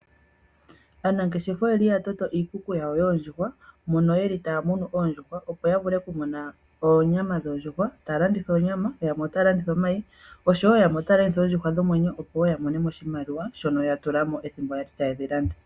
Aanangeshefa oyeli ta tameka iikuku yawo yoondjuhwa mono yeli taya munu oondjuhwa opo yavule okumona oonyama dhoondjuhwa . Ta ya landitha onyama yamwe ,otaya landitha omayi yamwe oshowo yamwe ota ya landitha oondjuhwa dhomwenyo opo yamonemo oshimaliwa shono ya tulamo ethimbo yali ta yedhi landa.